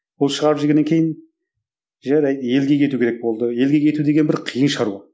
ол шығарып жібергеннен кейін жарайды елге кету керек болды елге кету деген бір қиын шаруа